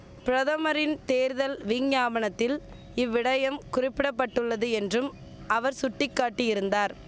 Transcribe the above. பிரதமரின் தேர்தல் விஞ்ஞாபனத்தில் இவ்விடயம் குறிப்பிட பட்டுள்ளது என்றும் அவர் சுட்டிக்காட்டியிருந்தார்